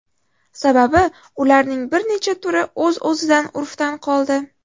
Sababi ularning bir necha turi o‘z-o‘zidan urfdan qoldi.